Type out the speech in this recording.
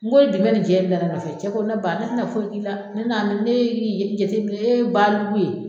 N ko e dun bɛ ni jɛ in na ne nɔfɛ, cɛ ko ne ba ne tɛna foyi k'i la, ne na ni ne y'i jateminɛ e ye baliku ye